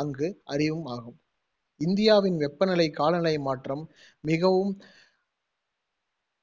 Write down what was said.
அங்கு ஆகும். இந்தியாவின் வெப்பநிலை காலநிலை மாற்றம் மிகவும்